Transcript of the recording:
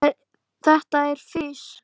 Þetta er fis.